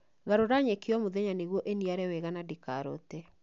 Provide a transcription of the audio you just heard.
Garũra nyeki o mũthenya nĩguo ĩniare narua na ndĩkarote